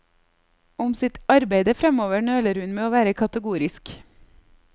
Om sitt arbeide fremover nøler hun med å være kategorisk.